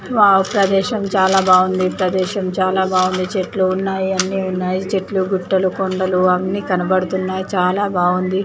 Wow ప్రదేశం చాలా బాగుంది ప్రదేశం చాలా బాగుంది చెట్లు ఉన్నాయి అన్ని ఉన్నాయి చెట్లు గుట్టలు కొండలు అన్ని కనబడుతున్నాయి చాలా బాగుంది .